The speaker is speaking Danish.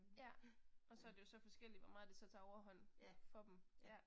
Ja. Og så er det jo forskelligt hvor meget det så tager overhånd for dem. Ja